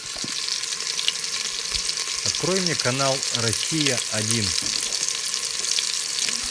открой мне канал россия один